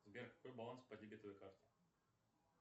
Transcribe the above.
сбер какой баланс по дебетовой карте